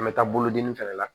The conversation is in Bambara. An bɛ taa bolodenni fɛnɛ la